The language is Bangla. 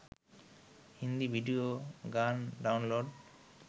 হিন্দি ভিডিও গান ডাউনলোড